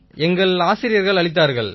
எங்கள் ஆசிரியர்கள் அளித்தார்கள்